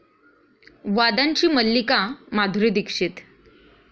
वादांची मल्लिका माधुरी दीक्षित